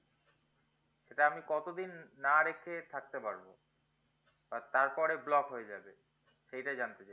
এটা আমি কত দিন না রেখে থাকতে পারবো বা তারপরে block হয়ে যাবে সেইটা জানতে চাই